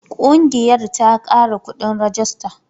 Ƙungiyar ta kara kuɗin rajista.